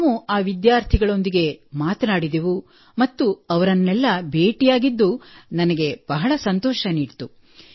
ನಾವು ಆ ವಿದ್ಯಾರ್ಥಿಗಳೊಂದಿಗೆ ಕೂಡಾ ಮಾತನಾಡಿದೆವು ಮತ್ತು ಅವರನ್ನೆಲ್ಲಾ ಭೇಟಿಯಾಗಿದ್ದು ನನಗೆ ಬಹಳ ಸಂತೋಷ ನೀಡಿತು